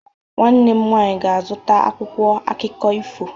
Nwanne m nwanyị ga-azụta akwụkwọ akụkọ ifo.